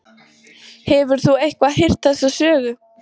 Hefur þú eitthvað heyrt þessa sögu?